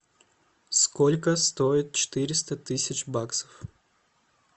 сколько стоит четыреста тысяч баксов